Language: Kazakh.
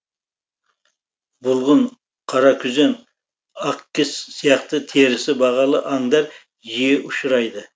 бұлғын қаракүзен ақкіс сияқты терісі бағалы аңдар жиі ұшырайды